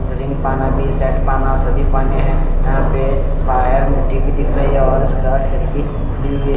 Ring पाना भी है सेट पाना सभी पाने है यहाँ पे बाहार मिट्टी भी दिख रही है और इसकी खिड़की खुली हुयी है।